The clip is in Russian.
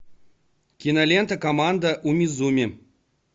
кинолента команда умизуми